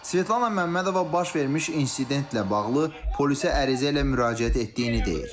Svetlana Məmmədova baş vermiş insidentlə bağlı polisə ərizə ilə müraciət etdiyini deyir.